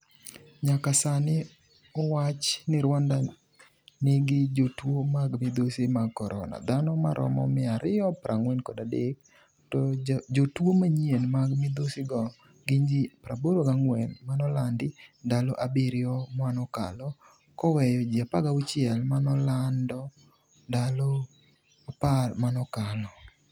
nyaka sani owach ni Rwanda nigi jotuo mag midhusi mag korona ,dhano maromo 243,to jotuo manyien mag midhusi go gin ji 84 manolandi ndalo abirio manokalo koweyo ji 16 manolando ndalo apar manokalo